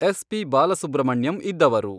S P Balasubrahmanyam ಇದ್ದವರು